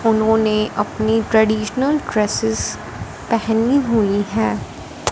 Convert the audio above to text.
उन्होंने अपनी traditional dresses पहनी हुई हैं।